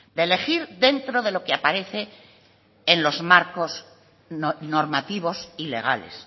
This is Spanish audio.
de elegir dentro de lo que aparece en los marcos normativos y legales